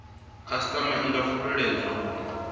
khasitama i nga fulufhedziswa uri